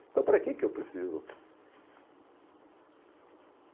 Então, para que que eu preciso?